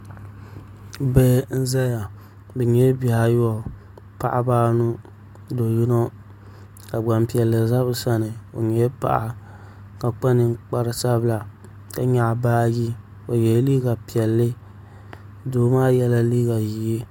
Bihi n ʒɛya bi nyɛla bihi ayobu paɣaba anu do yino ka Gbanpiɛli ʒɛ bi sani o nyɛla paɣa ka kpa ninkpari sabila ka nyaɣa baaji o yɛla liiga piɛlli doo maa yɛla liiga ʒiɛ